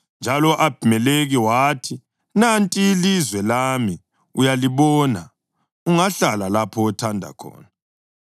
Njalo u-Abhimelekhi wathi, “Nanti ilizwe lami uyalibona; ungahlala lapho othanda khona.”